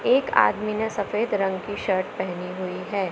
एक आदमी ने सफेद रंग की शर्ट पहनी हुई है।